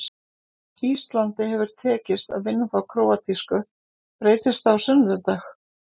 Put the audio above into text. Íslandi hefur tekist að vinna þá króatísku, breytist það á sunnudag?